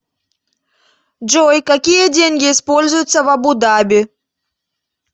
джой какие деньги используются в абу даби